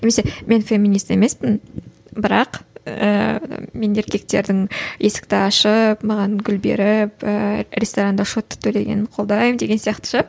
немесе мен феминист емеспін бірақ ііі мен еркектердің есікті ашып маған гүл беріп ііі ресторанда счетті төлегенің колдаймын деген сияқты ше